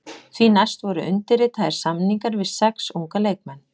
Því næst voru undirritaðir samningar við sex unga leikmenn.